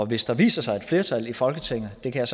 hvis der viser sig et flertal i folketinget det kan